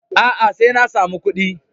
A'a, sai na samu kuɗi.